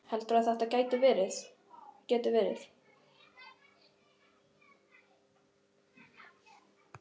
Heyrðu. heldurðu að þetta geti verið.